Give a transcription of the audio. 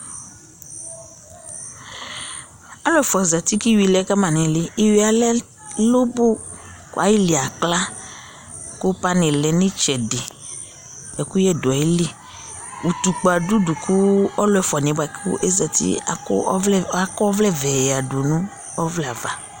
alò ɛfua zati kò iwi lɛ kama n'ili iwi yɛ lɛ lobo kò ayili akla kò pani lɛ n'itsɛdi ɛkuyɛ do ayili utukpa do udu kò ɔlò ɛfua niɛ boa kò ozati akɔ ɔvlɛ akɔ ɔvlɛ vɛ ya du no ɔvlɛ ava